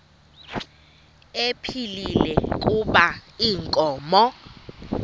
ephilile kuba inkomo